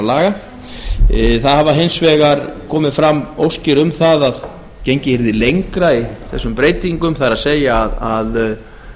laga það hafa hins vegar komið fram óskir um það að gengið yrði lengra í þessum breytingum það er að